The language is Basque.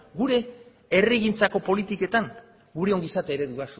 gure herrigintzako politiketan gure ongizate eredua